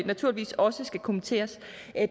naturligvis også skal kommenteres